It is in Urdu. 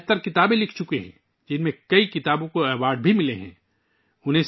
انہوں نے 75 کتابیں لکھی ہیں جن میں سے کئی کو پذیرائی ملی ہے